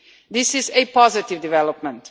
This is a positive development.